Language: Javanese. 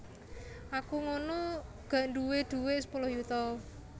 Aku ngunu gak dhuwe duwek sepuluh yuta